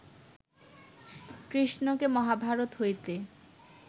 কৃষ্ণকে মহাভারত হইতে